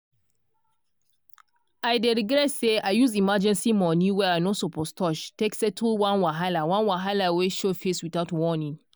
i dey regret say i use emergency money wey i no suppose touch take settle one wahala one wahala wey show face without warning.